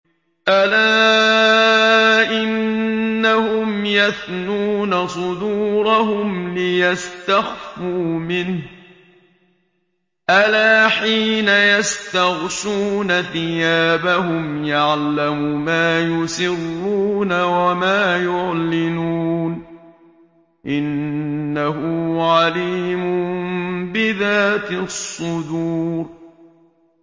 أَلَا إِنَّهُمْ يَثْنُونَ صُدُورَهُمْ لِيَسْتَخْفُوا مِنْهُ ۚ أَلَا حِينَ يَسْتَغْشُونَ ثِيَابَهُمْ يَعْلَمُ مَا يُسِرُّونَ وَمَا يُعْلِنُونَ ۚ إِنَّهُ عَلِيمٌ بِذَاتِ الصُّدُورِ